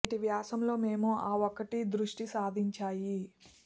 నేటి వ్యాసం లో మేము ఆ ఒకటి దృష్టి సారించాయి